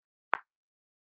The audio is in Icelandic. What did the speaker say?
Og tíminn er nægur.